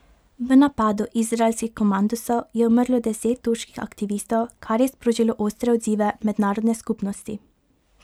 V napadu izraelskih komandosov je umrlo deset turških aktivistov, kar je sprožilo ostre odzive mednarodne skupnosti.